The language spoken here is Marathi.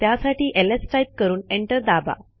त्यासाठी एलएस टाईप करून एंटर दाबा